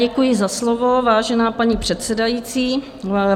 Děkuji za slovo, vážená paní předsedající.